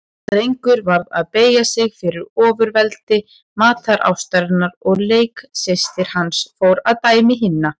Drengur varð að beygja sig fyrir ofurveldi matarástarinnar og leiksystir hans fór að dæmi hinna.